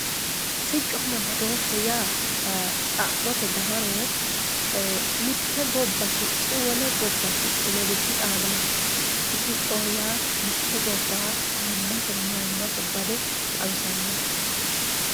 Siconna badosheho ya xa'mote dawaro e mitte gobba sicci wolle gibba sicci ledo dixadano siccoho ya mitte gobba ayimase mayimase bade xawisanoho